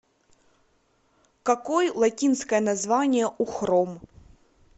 какой латинское название у хром